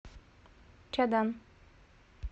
чадан